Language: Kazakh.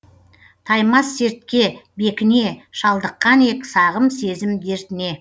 таймас сертке бекіне шалдыққан ек сағым сезім дертіне